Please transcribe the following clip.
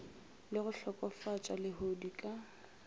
le go hlokofatša lehodu ka